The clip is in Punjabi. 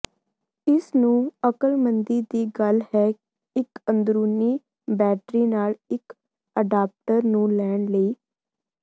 ਇਸ ਨੂੰ ਅਕਲਮੰਦੀ ਦੀ ਗੱਲ ਹੈ ਇੱਕ ਅੰਦਰੂਨੀ ਬੈਟਰੀ ਨਾਲ ਇੱਕ ਅਡਾਪਟਰ ਨੂੰ ਲੈਣ ਲਈ